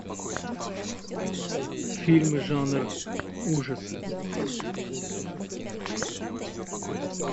фильмы жанр ужасы